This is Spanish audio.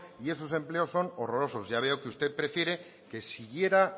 y esos empleos son horrorosos ya veo que usted prefiere que siguiera